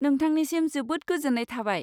नोंथांनिसिम जोबोद गोजोन्नाय थाबाय।